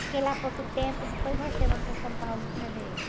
Fiquei lá pouco tempo, depois voltamos para São Paulo outra vez.